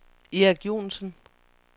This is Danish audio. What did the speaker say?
Erik Joensen